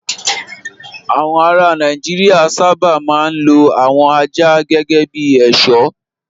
Àwọn ará Nàìjíríà sábà máa ń lo àwọn ajá gẹ́gẹ́ bí ẹ̀ṣọ́.